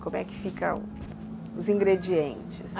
Como é que ficam os ingredientes?